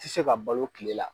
Ti se ka balo tile la.